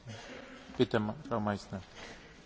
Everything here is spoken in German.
Herr Präsident, Frau Kommissarin!